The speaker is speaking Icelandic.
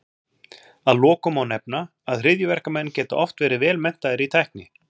Að lokum má nefna, að hryðjuverkamenn geta oft verið vel menntaðir í tækni.